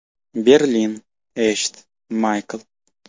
Berlin: Eshit, Maykl.